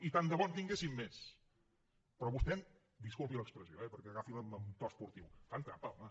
i tant de bo en tinguéssim més però vostè disculpi l’expressió eh agafila amb to esportiu fa trampa home